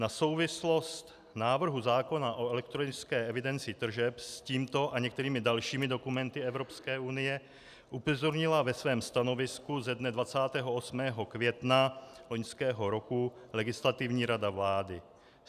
Na souvislost návrhu zákona o elektronické evidenci tržeb s tímto a některými dalšími dokumenty Evropské unie upozornila ve svém stanovisku ze dne 28. května loňského roku Legislativní rada vlády.